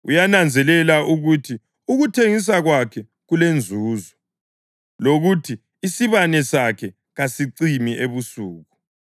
Uyananzelela ukuthi ukuthengisa kwakhe kulenzuzo, lokuthi isibane sakhe kasicimi ebusuku.